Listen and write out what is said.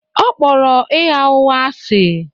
Ọ kpọrọ ịgha ụgha asị